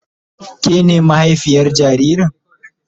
Ke na mahaifiyar jaririn?